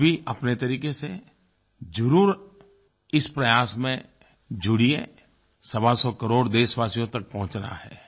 आप भी अपने तरीक़े से ज़रूर इस प्रयास में जुड़िये सवा सौ करोड़ देशवासियों तक पहुंचना है